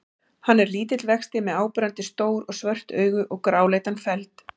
Hann er lítill vexti með áberandi stór og svört augu og gráleitan feld.